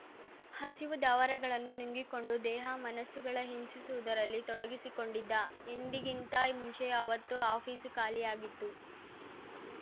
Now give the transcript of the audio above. ಹಸಿವು ದಾವರಗಳನ್ನು ನುಂಗಿಕೊಂಡು ದೇಹ ಮನಸ್ಸುಗಳ ಹಿಂಸಿಸುವುದರಲ್ಲಿ ತೊಡಗಿಸಿಕೊಂಡಿದ್ದ ಎಂದಿಗಿಂತ ಮುಂಚೆಯೆ ಅವತ್ತು ಆಫೀಸು ಖಾಲಿಯಾಗಿತ್ತು